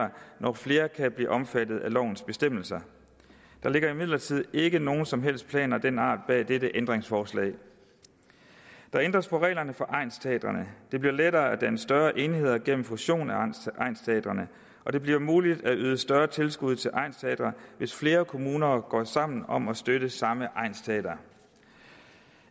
når flere kan blive omfattet af lovens bestemmelser der ligger imidlertid ikke nogen som helst planer af den art bag dette ændringsforslag der ændres på reglerne for egnsteatrene det bliver lettere at danne større enheder gennem fusion af egnsteatrene og det bliver muligt at yde større tilskud til egnsteatre hvis flere kommuner går sammen om at støtte samme egnsteater